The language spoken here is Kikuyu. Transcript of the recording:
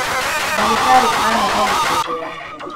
ndagĩtarĩnĩanoga gũtembea.